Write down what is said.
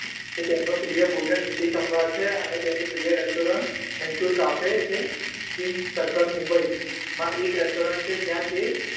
કે તેમનો પ્રિય ભોજન ઈડલી સંભાર છે અને તેની પ્રિય Restaurant મૈસુરકાફે છે. ચીન્સ સર્કલ મુંબઈ માં એક Restaurant છે જ્યાં તે